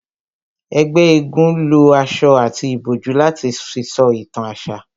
Ẹgbẹ́ égún lo aṣọ àti ìbòjú láti fi sọ ìtàn àṣà